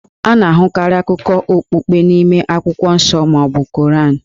A na-ahụkarị akụkọ okpukpe n'ime akwụkwọ nsọ ma ọ bụ Koran.